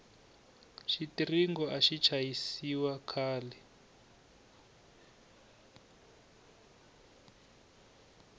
xitiringo axi chayisiwa khale